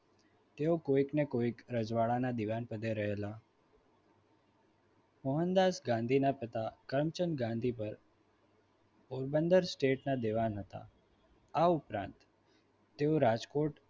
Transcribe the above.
તેઓ કોઈક ને કોઈક રજવાડાના દિવાન પડે રહેલા મોહનદાસ ગાંધીના પિતા કર્મચંદ ગાંધી પર પોરબંદર સ્ટેટના દિવાન હતા. આ ઉપરાંત તેઓ રાજકોટ